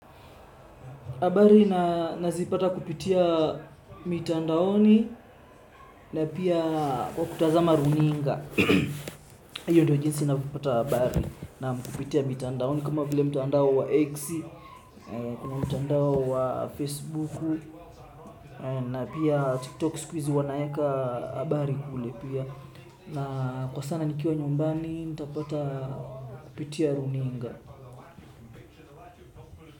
Habari nazipata kupitia mitandaoni na pia kwa kutazama runinga. Hiyo ndiyo jinsi ninavyopata habari naam kupitia mitandaoni kama vile mtandao wa X, kuna mtandao wa facebook na pia tiktok siku hizi wanaweka habari kule pia. Na kwa sana nikiwa nyumbani nitapata kupitia runinga.